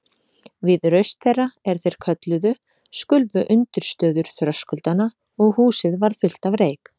Við raust þeirra, er þeir kölluðu, skulfu undirstöður þröskuldanna og húsið varð fullt af reyk.